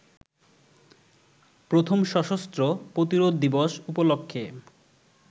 প্রথম সশস্ত্র প্রতিরোধ দিবস উপলক্ষে